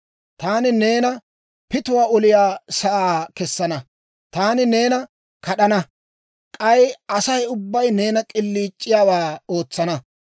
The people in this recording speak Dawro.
Taani neena pituwaa oliyaa sa'aa kessana; taani neena kad'ana; k'ay Asay ubbay neenan k'iliic'iyaawaa ootsana.